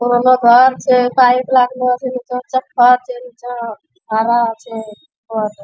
पुरानो घर छे टाइल्स लागलो छे नीचां फर्श छे नीचा अ हरा छे।